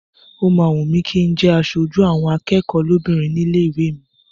Ó máa wùn mí kí n jẹ́ aṣojú àwọn akẹ́kọ̀ọ́ lóbìnrin nílé ìwé mi.